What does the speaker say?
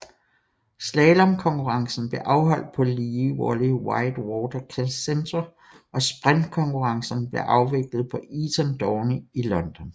Slalomkonkurrencen blev afholdt på Lee Valley White Water Centre og sprint konkurrencerne blev afviklet på Eton Dorney i London